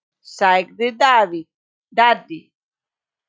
sagði Daði.